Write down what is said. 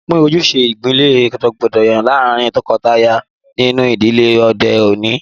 Wọn pin ojúṣẹ̀ idílẹ̀ dọ̀gbàdọ̀gbà lárìn tókọtàyà nínú idílẹ̀ ọdẹ̀ ọ̀ní.